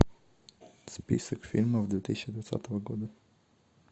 список фильмов две тысячи двадцатого года